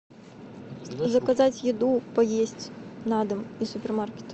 заказать еду поесть на дом из супермаркета